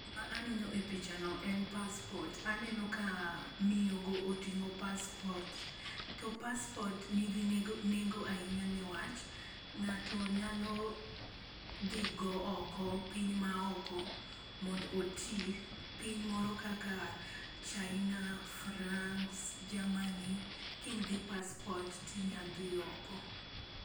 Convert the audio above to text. Gima aneno e pichano en paspot. Aneno ka miyogo otingo paspot to paspot nigi nego nigi nengo niwach ng'ato nyalo dhi go oko piny ma oko mond oti piny moro kaka chaina, frangs, ,Jaman ka in gi paspot tinya dhi oko.